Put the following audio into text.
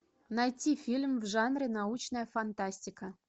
найти фильм в жанре научная фантастика